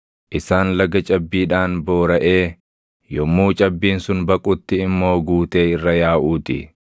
isaan laga cabbiidhaan booraʼee yommuu cabbiin sun baqutti immoo guutee irra yaaʼuu ti.